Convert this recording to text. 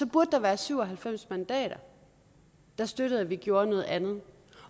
burde der være syv og halvfems mandater der støttede at vi gjorde noget andet